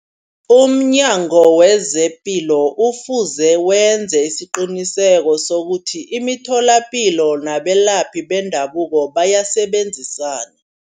Umnyango wezepilo ufuze wenze isiqiniseko sokuthi imitholapilo nabelaphi bendabuko bayasebenzisana.